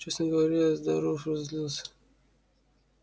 честно говоря я здорово разозлилась